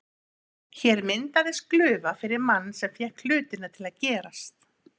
Hér myndaðist glufa fyrir mann sem fékk hlutina til að gerast.